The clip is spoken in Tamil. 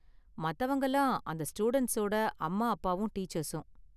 மத்தவங்கலாம் அந்த ஸ்டூடண்ட்ஸோட அம்மா அப்பாவும் டீச்சர்ஸும்.